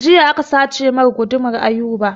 Jiya aka sace mai gudumar Ayuba